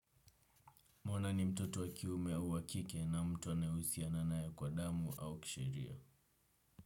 Mwana ni mtoto wakiume au wakike na mtuanaye husiana naye kwa damu au kisheria.